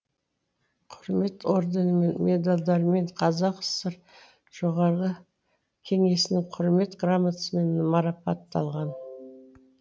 құрмет орденімен медальдармен қазақ кср жоғарғы кеңесінің құрмет грамотасымен марапатталған